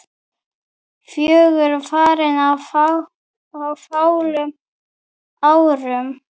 Fjögur farin á fáum árum.